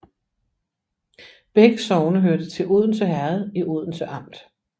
Begge sogne hørte til Odense Herred i Odense Amt